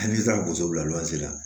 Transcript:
Hali n'i taara boso bila la